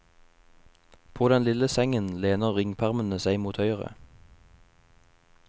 På den lille sengen lener ringpermene seg mot høyre.